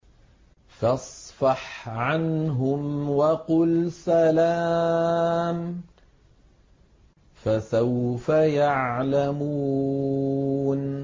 فَاصْفَحْ عَنْهُمْ وَقُلْ سَلَامٌ ۚ فَسَوْفَ يَعْلَمُونَ